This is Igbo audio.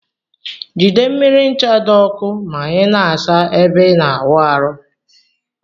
Jide mmiri ncha di ọkụ ma ina asa ebe ina awụ arụ.